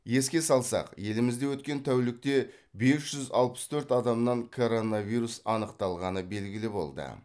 еске салсақ елімізде өткен тәулікте бес жүз алпыс төрт адамнан коронавирус анықталғаны белгілі болды